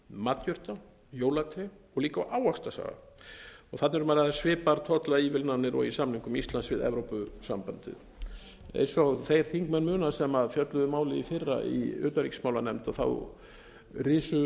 matjurta jólatré og líka á ávaxtasafa þarna er um að ræða svipaðar tollaívilnanir og í samningum íslands við evrópusambandið eins og þeir þingmenn muna sem fjölluðu um málið í fyrra í utanríkismálanefnd risu